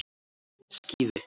Skíði